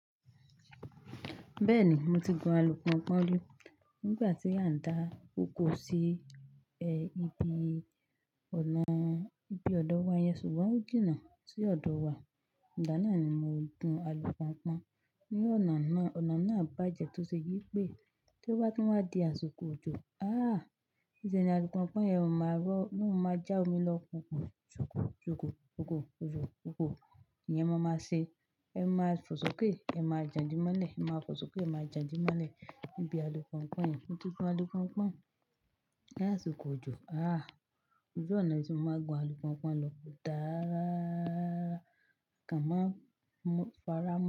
Bẹ́ẹ̀ni, mo ti gun alùpùponpọ́n ri nígbà tí a ń dá oko sí, ibi ọ̀nà, ibi ọ̀dọ̀ wa yẹn ṣùgbọ́n ó jìnnà sí ọ̀dọ̀ wa. Ìgbá naá ni mo gun alùponpọ́n ní ọ̀nà náà. Ọ̀nà náà bàjẹ́ tó ṣe wípé tó bá tún wá di àsìkò òjò, Niṣẹ́ ní alùponpọ́n yẹn ò máa rọ́, ló maa máa já omi lọ kùkù ṣòkò, ṣòkò, ṣòkò, kokò. Iyẹn máa máa ṣe. Ẹ máa fọsọ ké ẹ máa jàǹdímọ́lẹ̀, ẹ máa fọsọ ké ẹ máa jàǹdímọ́lẹ̀ níbi alùponpọ́n yẹn. Mo ti gun alùponpọ́n ní àsìkò òjò. Oju oná tí mo máa gun alùponpọ́n lọ kò dáa rara, mo kan máa mọ́ fárá mo.